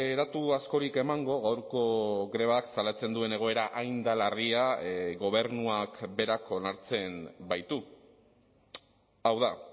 datu askorik emango gaurko grebak salatzen duen egoera hain da larria gobernuak berak onartzen baitu hau da